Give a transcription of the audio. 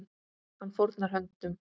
Hann fórnar höndum.